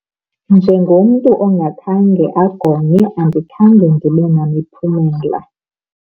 Njengomntu ongakhange agonywe andikhange ndibe namiphumela.